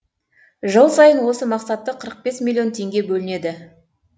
жыл сайын осы мақсатта қырық бес миллион теңге бөлінеді